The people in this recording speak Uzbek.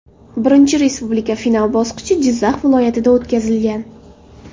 Birinchi Respublika final bosqichi Jizzax viloyatida o‘tkazilgan.